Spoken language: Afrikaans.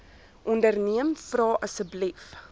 onderneem vra asseblief